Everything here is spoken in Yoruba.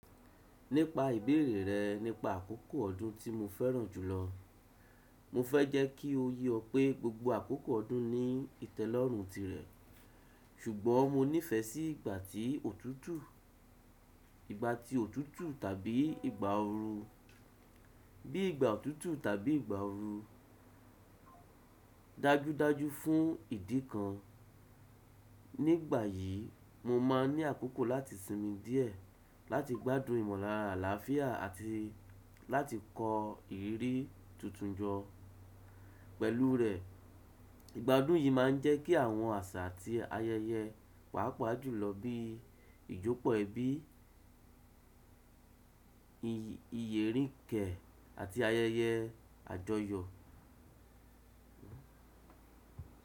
Nípa ìbéèrè rẹ nípa àkókò ọdún tí mo fẹ́ràn jùlọ, mo fẹ́ jẹ́ kí o yé ọ pé gbogbo àkókò ọdún ní ìtẹ́lọ́rùn tirẹ̀, ṣùgbọ́n mo nífẹ̀ẹ́ sí ìgbà tí òtútù, ìgbà tí òtútù tàbí ìgbà ooru. Bí ìgbà òtútù tàbí ìgbà ooru, dájúdájú fún ìdí kan. Nígbà yìí, mo máa ń ní àkókò láti sinmi díẹ̀, láti gbádùn ìmọ̀lára àlàáfíà àti láti kọ ìrírí tuntun jọ pẹ̀lú rẹ. Ìgbádùn yìí máa ń jẹ́ kí àwọn àṣà àti ayẹyẹ pàápàá jùlọ bí ìjọ́pọ̀ ẹbí, ìyẹ̀ríǹkẹ́ àti ayẹyẹ àjọyọ̀.